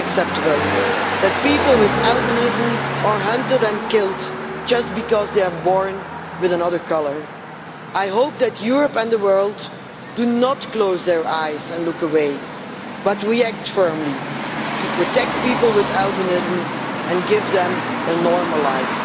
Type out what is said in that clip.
It is unacceptable that people with albinism are hunted and killed just because they are born with another colour. I hope that Europe and the world do not close their eyes and look away, but react firmly to protect people with albinism and give them a normal life.